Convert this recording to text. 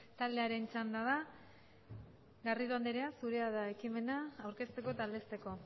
taldearen txanda da garrido anderea zure da ekimena aurkezteko eta aldezteko